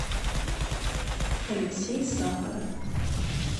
алексей сахаров